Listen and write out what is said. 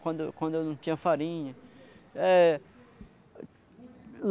Quando eu quando eu não tinha farinha. É